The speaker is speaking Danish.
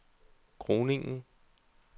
Groningen